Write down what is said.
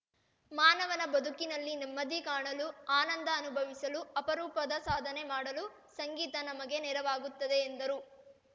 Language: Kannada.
ಮಾನವನ ಬದುಕಿನಲ್ಲಿ ನೆಮ್ಮದಿ ಕಾಣಲು ಆನಂದ ಅನುಭವಿಸಲು ಅಪರೂಪದ ಸಾಧನೆ ಮಾಡಲು ಸಂಗೀತ ನಮಗೆ ನೆರವಾಗುತ್ತದೆ ಎಂದರು